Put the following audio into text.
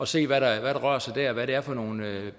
set hvad der rører sig der og hvad det er for nogle